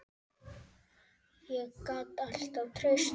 Ég gat alltaf treyst því.